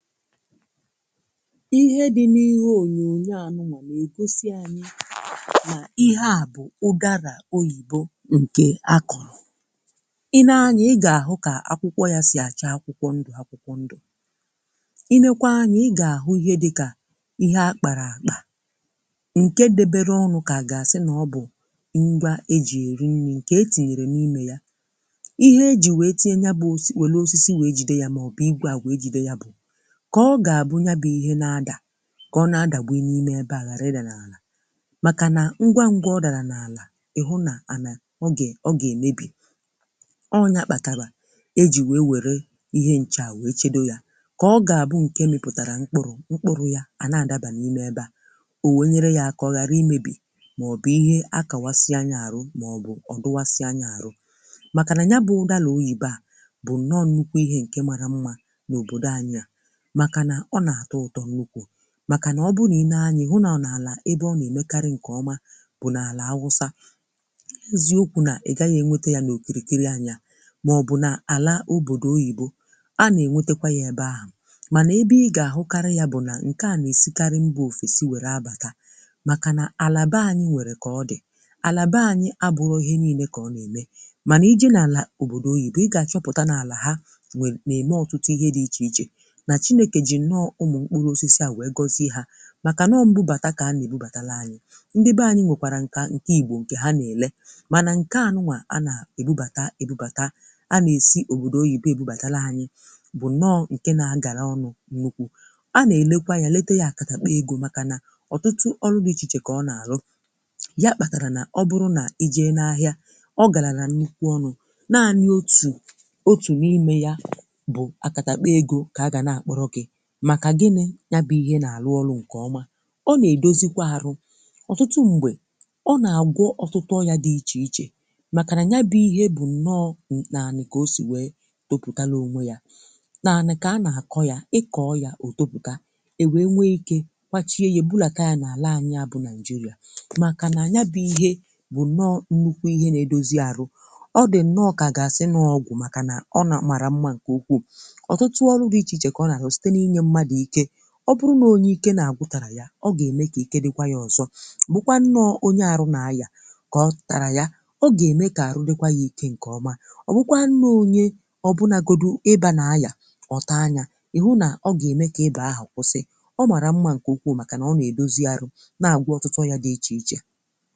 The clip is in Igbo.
ihe dị n’ihe onyonyo anụnụ̀, ma ègosi anyị̀ nà ihe à bụ̀ ụgarà oyìbo ǹkè akọ̀rọ̀ i nee anyị̀, ị gà-àhụ kà akwụkwọ yà si àcha akwụkwọ ndụ̀ akwụkwọ ndụ̀ i nekwa anyị̀, ị gà-àhụ ihe dịkà ihe akpàrà àkpà ǹke debeere ọnụ̇ kà gàsị nà ọ bụ̀ ṅgwȧ eji eri nni̇ ǹkè e tinyèrè n’imè yà ihe eji wee tinye nyabụ̀ òsì, wèlu osisi wèe jide yà màọbụ̀ igwà àgwà eji̇de yà bụ̀ ka ọ ga-abụ nya bụ ihe na-adà ka ọ na-adà gbu i n’ime ebe agharịrị n’ala makà na ngwa ngwa ọdarà n’alà ịhụ n’anà ọ ga ọ ga-emebì ọ ọ nyà kpatabà e ji wee were ihe nchà wee chedo yà ka ọ ga-abụ nke mịpụtarà mkpụrụ̀ mkpụrụ̀ ya a na-adabà n’ime ebe à owenyere yà ka ọ ghara imebì maọ̀bụ̀ ihe akawasị anya arụ̀ maọ̀bụ̀ ọ dụwasị anya arụ̀ makà nà nya bụ̇ ụdàlà oyibe à bụ̀ na ọ nnukwà ihe nke marà mmà n’òbodò anya makà nà ọ bụ nà i nee anya hụ nà ọ nà àlà ebe ọ nà èmekarị ǹkèọma bụ nà àlà awụsa eziokwu nà ị gaghị̇ ènwete ya nà òkìrìkiri anya màọbụ̀ nà àlà òbòdò oyìbo a nà ènwetekwà yà ebe ahụ̀ mànà ebe ị gà-àhụkarị ya bụ̀ nà ǹkè a nà-èsikarị mbụ òfèsi wère abàta makà nà àlà bẹ anyị nwèrè kà ọ dì àlà bẹ anyị abụrọ ihe nii̇nė kà ọ nà-ème mànà ije nà àlà òbòdò oyìbo ị gà-àchọpụ̀ta n’àlà ha nà-ème ọtụtụ ihe dị ichè ichè ichè nọọ̀ ụmụ̀ mkpụrụ̀ osisi à wee gosi hà màkà nọọ̀ mbụbàtà kà anà-èbubàtalụ anyị̀ ndị be anyị̀ nwèkwàrà nkà ǹkè igbò ǹkè ha na-èle mànà nkà anụmà anà-ebubàtà ebubàtà a nà-èsi òbòdò oyìbo ebubàtalụ̀ anyị̀ bụ̀ nọọ̀ ǹke na-agala ọnụ̀ nnukwu a nà-elekwa anyà lete ya akàtà kpọ̀ egȯ màkà nà ọtụtụ ọrụ̇ dị ichè ichè kà ọ nà-àrụ ya kpatarà nà ọ bụrụ̀ nà i jee n’ahịà ọ galàrà nkwụkwọ ọnụ̀ naanị̀ otù otù n’imè ya bụ̀ akàtà kpọ̀ egȯ kà a gà na-àkpọrọkị̀ màkà gịnị̇ ya bụ ihe nà-àrụ ọrụ̇ ǹkè ọma ọ nà-èdozikwa arụ̇ ọ̀tụtụ m̀gbè ọ nà-àgwọ ọtụtụ ọrị̇ȧ dị ichè ichè màkà nà nya bụ̇ ihe bụ̀ nnọọ̇ nà-ànị kà o sì wèe topùtalònwe yȧ nà-ànị̀ kà a nà-àkọ yȧ ịkọ̇ ya o topùta èwèe nwee ikė kwachie yȧ bulàka yȧ nà-àla anyiȧ bụ̀ naị̀jịrị̀a màkà nà anya bụ̀ ihe bụ̀ nnọọ̇ nnukwu ihe nà-èdozi arụ ọ dị̀ nnọọ̇ kà ga-asị n’ọgwụ̀ màkà nà ọ nà mara mma ǹkè ukwuù ọ bụrụ̀ na onye ike na-agwụ̀ tarà ya ọ ga-eme ka ike dịkwà yà ọzọ̀ bụkwà nnọọ̀ onye arụ̀ na-ayà ka ọ tarà ya ọ ga-eme ka arụ̀ dịkwà yà ike nke ọmà ọ bụkwà nnọọ̀ onye ọ bụnagodù ebèa na-ayà ọtà anyà ị hụ na ọ ga-eme ka ebèa ahụ̀ kwụsị ọ marà mmà nke ukwù makà na ọ na-edozi arụ̀ na-agwụ̀ ọtụtụ yà dị iche ichè